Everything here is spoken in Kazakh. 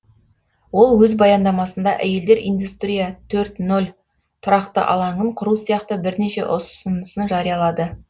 ол өз баяндамасында әйелдер индустрия төрт нөл тұрақты алаңын құру сияқты бірнеше ұсынысын жариялады